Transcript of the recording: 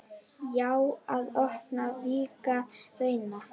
Já, að opna, víkka, reyna.